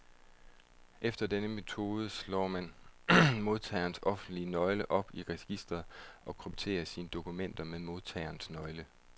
Efter denne metode slår man modtagerens offentlige nøgle op i registret, og krypterer sine dokumenter med modtagerens nøgle.